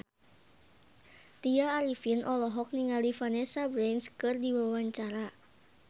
Tya Arifin olohok ningali Vanessa Branch keur diwawancara